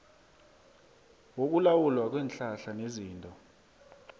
wokulawulwa kweenhlahla nezinto